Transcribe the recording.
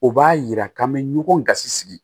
O b'a yira k'an bɛ ɲɔgɔn gasi sigi